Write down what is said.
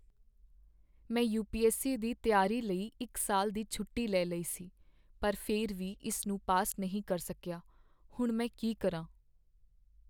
ਮੈਂ ਯੂ.ਪੀ.ਐੱਸ.ਸੀ. ਦੀ ਤਿਆਰੀ ਲਈ ਇੱਕ ਸਾਲ ਦੀ ਛੋਟੀ ਲੈ ਲਈ ਸੀ ਪਰ ਫਿਰ ਵੀ ਇਸ ਨੂੰ ਪਾਸ ਨਹੀਂ ਕਰ ਸਕੀਆ। ਹੁਣ ਮੈਂ ਕੀ ਕਰਾਂ?